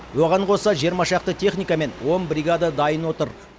оған қоса жиырма шақты техника мен он бригада дайын отыр